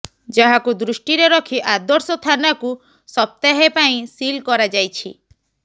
ଯାହାକୁ ଦୃଷ୍ଟିରେ ରଖି ଆଦର୍ଶ ଥାନାକୁ ସପ୍ତାହେ ପାଇଁ ସିଲ୍ କରାଯାଇଛି